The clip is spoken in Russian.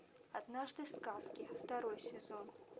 однажды в сказке второй сезон